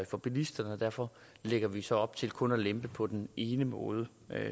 for bilisterne og derfor lægger vi så op til kun at lempe på den ene måde